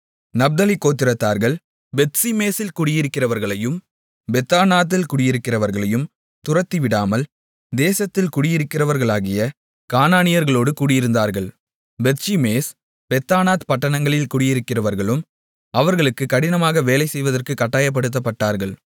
நப்தலி கோத்திரத்தார்கள் பெத்ஷிமேசில் குடியிருக்கிறவர்களையும் பெத்தானாத்தில் குடியிருக்கிறவர்களையும் துரத்திவிடாமல் தேசத்தில் குடியிருக்கிறவர்களாகிய கானானியர்களோடு குடியிருந்தார்கள் பெத்ஷிமேஸ் பெத்தானாத் பட்டணங்களில் குடியிருக்கிறவர்களும் அவர்களுக்கு கடினமாக வேலை செய்வதற்குக் கட்டாயப்படுத்தப்பட்டார்கள்